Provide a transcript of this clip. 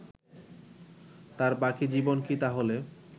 তার বাকি জীবন কি তাহলে